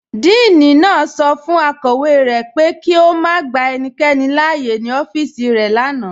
Díìní naá sọ fun akọwe rẹ pé kí o má gbà ènìkẹ́ni láàyè ní ọfíìsì rẹ lánà.